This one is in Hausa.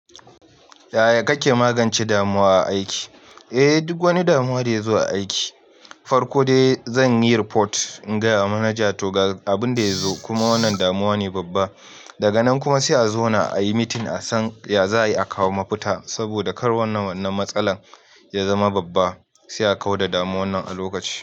Yaya kake magance damuwa a aiki? Eh, duk wani damuwa da yazo a aiki, farko dai zan yi report ingaya wa manaja toga abin da ya zo. Kuma wannan damuwa ne babba, daga nan kuma sai a zauna ayi meeting a san ya za a yi a kawo mafita. Saboda kar wannan wannan matsalar ya zama babba, sai a kau da damuwan nan a lokaci.